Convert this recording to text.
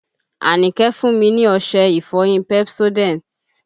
Àníkẹ́ fún mi ní ọṣẹ ìfọyín Pepsodent